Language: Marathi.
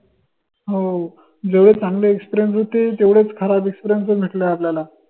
हओ जेवढे चांगले experience होते तेवढेच खराब experience पन भेटले आपल्याला